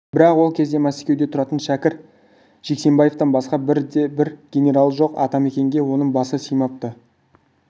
бірақ ол кезде мәскеуде тұратын шәкір жексенбаевтан басқа бірде-бір генералы жоқ атамекенге оның басы сыймапты